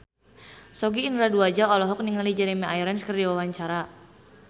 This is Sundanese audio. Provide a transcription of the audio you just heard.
Sogi Indra Duaja olohok ningali Jeremy Irons keur diwawancara